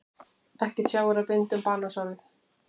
Ekki tjáir að binda um banasárið.